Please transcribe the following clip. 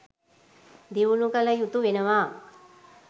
දියුණු කළ යුතු වෙනවා.